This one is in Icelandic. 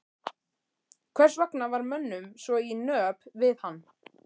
Hvers vegna var mönnum svo í nöp við hann?